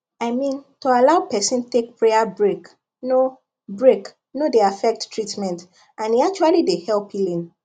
i mean to allow person take prayer break no break no dey affect treatment and e actually dey help healing